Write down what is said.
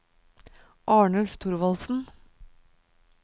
Arnulf Thorvaldsen